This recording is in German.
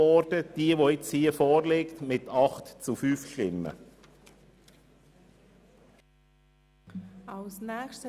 Die nun vorliegende Planungserklärung wurde mit 8 zu 5 Stimmen gutgeheissen.